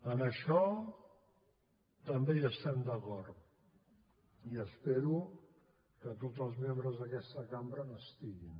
en això també hi estem d’acord i espero que tots els membres d’aquesta cambra hi estiguin